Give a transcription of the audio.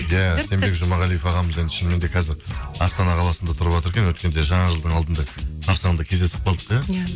иә сенбек жұмағалиев ағамыз енді шынымен де қазір астана қаласында тұрыватыр екен өйткенде жаңа жыл алдында қарсаңында кездесіп қалдық иә иә